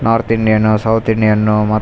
north Indian south Indian ಮತ್ತ್ --